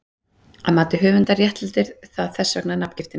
Að mati höfundar réttlætir það þess vegna nafngiftina.